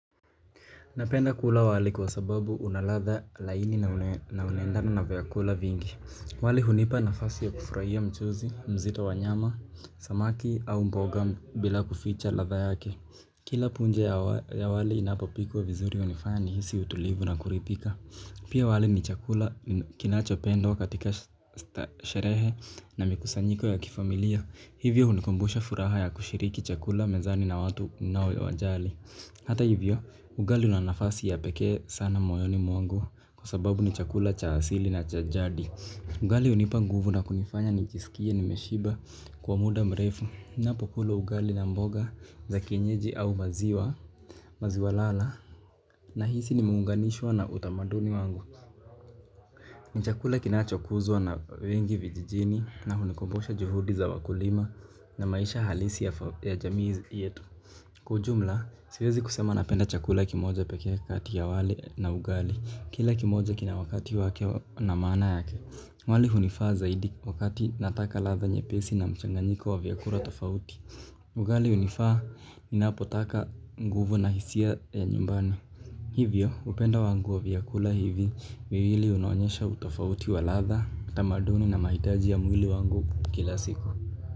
Napenda kula wali kwa sababu una ladha laini na unaendana na vyakula vingi. Wali hunipa nafasi ya kufurahia mchuzi mzito wa nyama, samaki au mboga bila kuficha ladha yake. Kila punje ya wale inapopikuwa vizuri hunifanya nihisi utulivu na kuridhika. Pia wali ni chakula kinachopendwa katika sherehe na mikusanyiko ya kifamilia. Hivyo hunikumbusha furaha ya kushiriki chakula mezani na watu unaowajali. Hata hivyo, ugali una nafasi ya pekee sana moyoni mwangu kwa sababu ni chakula cha asili na cha jadi. Ugali hunipa nguvu na kunifanya nijisikie nimeshiba kwa muda mrefu ninapokula ugali na mboga za kienyeji au maziwa, maziwa lala, nahisi nimeunganishwa na utamaduni wangu. Ni chakula kinachokuzwa na wengi vijijini na hunikumbusha juhudi za wakulima na maisha halisi ya jamii yetu. Kwa ujumla, siwezi kusema napenda chakula kimoja pekee kati ya wali na ugali kila kimoja kina wakati wake na maana yake. Wali hunifaa zaidi wakati nataka ladha nyepesi na mchanganyiko wa vyakula tofauti ugali hunifaa ninapotaka nguvu na hisia ya nyumbani. Hivyo, upendo wangu wa vyakula hivi viwili unaonyesha utofauti wa ladha, tamaduni na mahitaji ya mwili wangu kila siku.